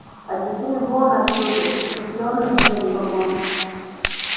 а теперь вон отсюда исступлённо заревел он